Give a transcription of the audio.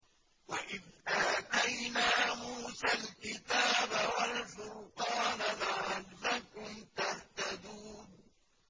وَإِذْ آتَيْنَا مُوسَى الْكِتَابَ وَالْفُرْقَانَ لَعَلَّكُمْ تَهْتَدُونَ